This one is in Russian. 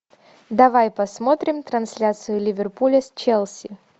давай посмотрим трансляцию ливерпуля с челси